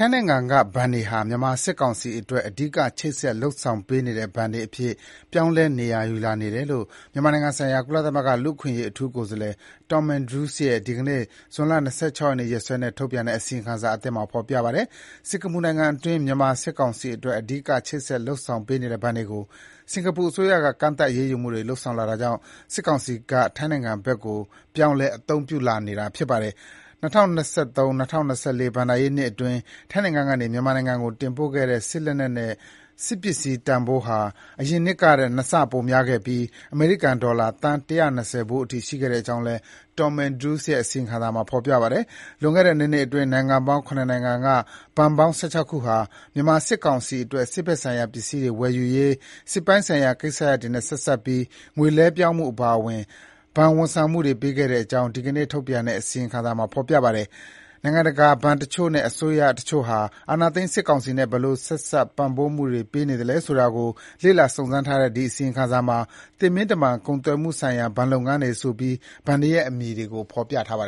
င်းနိုင်ငံက ဘဏ်တွေဟာ မြန်မာစစ်ကောင်စီအတွက် အဓိက ချိတ်ဆက် လုပ်ဆောင်ပေးနေတဲ့ ဘဏ်တွေအဖြစ် ပြောင်းလဲ နေရာယူလာနေတယ်လို့ မြန်မာနိုင်ငံဆိုင်ရာ ကုလသမဂ္ဂ လူ့အခွင့်အရေးအထူးကိုယ်စားလှယ် Tom Andrews ရဲ့ ဒီကနေ့ ဇွန်လ ၂၆ ရက်နေ့ ရက်စွဲနဲ့ ထုတ်ပြန်တဲ့ အစီရင်ခံစာအသစ်မှာ ဖေါ်ပြပါတယ်။ စင်္ကာပူနိုင်ငံအတွင်း မြန်မာ စစ်ကောင်စီအတွက် အဓိက ချိတ်ဆက် လုပ်ဆောင်ပေးနေတဲ့ ဘဏ်တွေကို စင်္ကာပူအစိုးရက ကန့်သတ် အရေးယူမှုတွေ လုပ်ဆောင်လာတာကြောင့် စစ်ကောင်စီက ထိုင်းနိုင်ငံကဘဏ်တွေကို ပြောင်းလဲ အသုံးပြုလာနေတာပါ။ ၂၀၂၃-၂၀၂၄ ဘဏ္ဍာရေးနှစ်အတွင်း ထိုင်းနိုင်ငံကနေ မြန်မာနိုင်ငံကို တင်ပို့ခဲ့တဲ့ စစ်လက်နက်နဲ့ စစ်ပစ္စည်း တန်ဖိုးဟာ အရင်နှစ်ကထက် နှစ်ဆပိုများခဲ့ပြီး အမေရိကန် ဒေါ်လာ သန်း ၁၂၀ ဖိုးအထိ ရှိတဲ့အကြောင်းလည်း Tom Andrews ရဲ့ အစီရင်ခံစာမှာ ဖေါ်ပြပါတယ်။ လွန်ခဲ့တဲ့ ၂ နှစ်အတွင်း နိုင်ငံပေါင်း (၇) နိုင်ငံက ဘဏ်ပေါင်း (၁၆) ခုဟာ မြန်မာစစ်ကောင်စီအတွက် စစ်ဘက်ဆိုင်ရာပစ္စည်းတွေ၀ယ်ယူရေး စစ်ပိုင်းဆိုင်ရာကိစ္စရပ်တွေနဲ့ ဆက်စပ်ပြီး ငွေလွှဲပြောင်းမှုအပါအ၀င် ဘဏ်၀န်ဆောင်မှုတွေ ပေးခဲ့ကြောင်း ဒီကနေ့ ထုတ်ပြန်တဲ့ Tom Andrews ရဲ့ အစီရင်ခံစာအသစ်မှာ ဖေါ်ပြပါတယ်။ နိုင်ငံတကာ ဘဏ်တချို့နဲ့ အစိုးရ တချို့ဟာ အာဏာသိမ်း စစ်ကောင်စီနဲ့ ဘယ်လို ဆက်စပ် ပံ့ပိုးမှုတွေပေးနေသလဲ ဆိုတာကို လေ့လာ စုံစမ်းထားတဲ့ ဒီအစီရင်ခံစာမှာ “သေမင်းတမန်ကုန်သွယ်မှုဆိုင်ရာ ဘဏ်လုပ်ငန်းတွေ” - ဆိုပြီး ဘဏ်တွေရဲ့ အမည်တွေကို ဖေါ်ပြထားတာပါ။